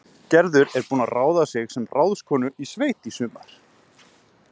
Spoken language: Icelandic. Gerður er búin að ráða sig sem ráðskonu í sveit í sumar